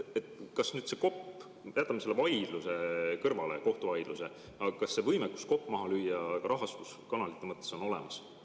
Jätame selle kohtuvaidluse kõrvale, aga kas see võimekus kopp maasse lüüa on rahastuskanalite mõttes olemas?